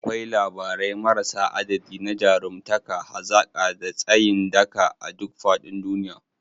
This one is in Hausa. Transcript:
Akwai labarai marasa adadi na jarumtaka, hazaka, da tsayin daka a duk faɗin duniya.